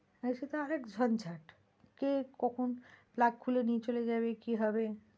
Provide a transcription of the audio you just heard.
হ্যাঁ, সে তো আর এক ঝঞ্ঝাট কে কখন plug খুলে নিয়ে চলে যাবে কি হবে,